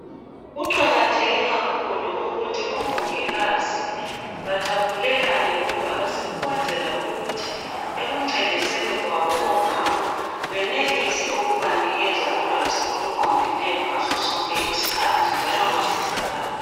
Kuqakatheke kakhulu ukuthi omongikazi bathaphulelane ulwazi ukwenzela ukuthi ekuncediseni kwabo omama benelise ukubanikeza ulwazi okuqondileyo ngasosonke isikhathi njalo basizakale.